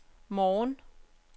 morgen